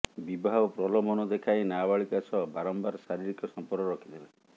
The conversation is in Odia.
ବିବାହ ପ୍ରଲୋଭନ ଦେଖାଇ ନାବାଳିକା ସହ ବାରମ୍ବାର ଶାରୀରିକ ସଂପର୍କ ରଖିଥିଲେ